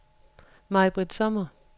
Maj-Britt Sommer